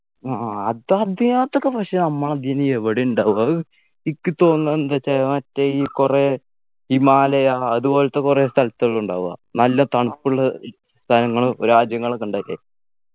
ആ അത് അതെ അതൊക്കെ പക്ഷെ നമ്മളതിനി എവിടെയാ ഉണ്ടാവുക അത് ഇക്ക് തോന്നുന്നത് എന്തച്ചാ മറ്റേ ഈ കുറെ ഹിമാലയ അതുപോലെത്തെ കുറെ സ്ഥലത്തൊക്കെ ഇണ്ടാവാ നല്ല തണുപ്പുള്ള ഇ സ്ഥലങ്ങളു രാജ്യങ്ങളൊക്കെ ഉണ്ടാക്കെ